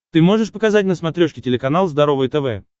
ты можешь показать на смотрешке телеканал здоровое тв